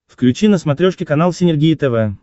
включи на смотрешке канал синергия тв